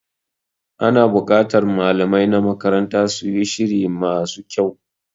Ana bukatar malamai na makaranta su yi shiri ma su kyau.